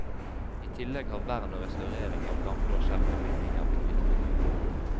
I tillegg har vern og restaurering av gamle og sjeldne bygninger blitt viktig.